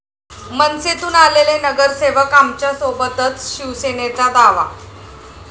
मनसेतून आलेले नगरसेवक आमच्यासोबतच, शिवसेनेचा दावा